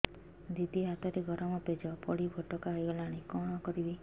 ଦିଦି ହାତରେ ଗରମ ପେଜ ପଡି ଫୋଟକା ହୋଇଗଲା କଣ କରିବି